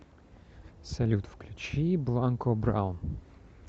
салют включи бланко браун